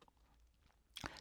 TV 2